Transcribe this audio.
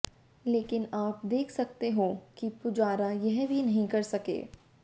लेकिन आप देख सकते हो कि पुजारा यह भी नहीं कर सके